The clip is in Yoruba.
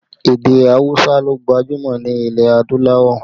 Èdè awusa ló gbajúmọ̀ nílẹ̀ adúláwọ̀